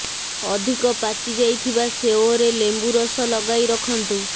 ଅଧିକ ପାଚି ଯାଇଥିବା ସେଓରେ ଲେମ୍ବୁ ରସ ଲଗାଇ ରଖନ୍ତୁ